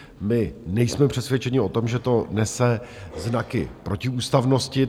My nejsme přesvědčeni o tom, že to nese znaky protiústavnosti.